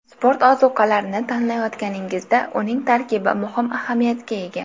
Sport ozuqalarini tanlayotganingizda uning tarkibi muhim ahamiyatga ega.